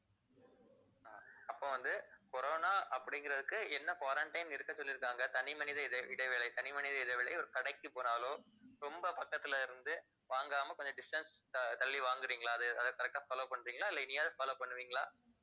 அப்போ வந்து corona அப்படிங்கறதுக்கு என்ன quarantine இருக்க சொல்லியிருக்காங்க தனிமனித இடை~ இடைவேளை தனிமனித இடைவேளை ஒரு கடைக்கு போனாலோ ரொம்ப பக்கத்தலயிருந்து இருந்து வாங்காம கொஞ்சம் distance த~ தள்ளி வாங்குறீங்களா அது அதை correct ஆ follow பண்றீங்களா இல்லை இனியாவது follow பண்ணுவீங்களா